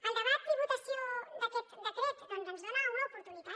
el debat i votació d’aquest decret ens dona una oportunitat